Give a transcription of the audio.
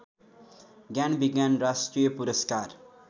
ज्ञानविज्ञान राष्ट्रिय पुरस्कार